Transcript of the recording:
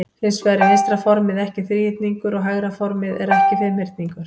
Hins vegar er vinstra formið ekki þríhyrningur og hægra formið er ekki fimmhyrningur.